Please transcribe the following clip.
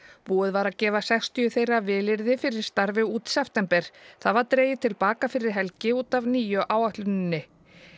búið var að gefa sextíu þeirra vilyrði fyrir starfi út september það var dregið til baka fyrir helgi út af nýju áætluninni